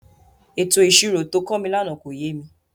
Ètò ìṣirò to kọ́ mi lánàá kò yé mi.